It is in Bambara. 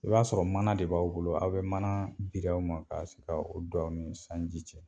I b'a sɔrɔ mana de b'aw bolo, aw bi mana bir'aw ma k'aw sig'a dɔnni sanji cɛ